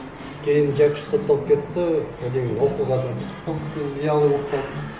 кейін жәкішев сотталып кетті одан кейін оқуға да виялый болып қалдық